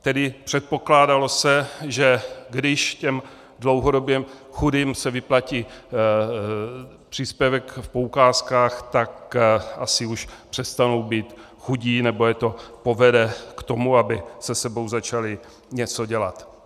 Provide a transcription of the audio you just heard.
Tedy předpokládalo se, že když těm dlouhodobě chudým se vyplatí příspěvek v poukázkách, tak asi už přestanou být chudí nebo je to povede k tomu, aby se sebou začali něco dělat.